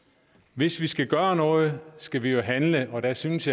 hvis vi skal gøre noget skal vi jo handle og jeg synes